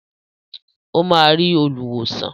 Ó máa rí olùwòsàn.